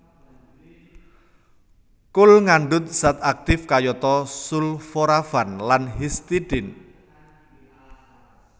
Kul ngandhut zat aktif kayata sulforafan lan histidine